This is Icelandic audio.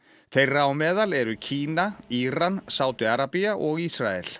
þeirra á meðal eru Kína Íran Sádi Arabía og Ísrael